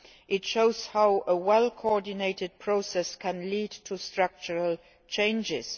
It shows how a well coordinated process can lead to structural changes.